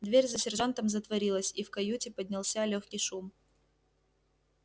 дверь за сержантом затворилась и в каюте поднялся лёгкий шум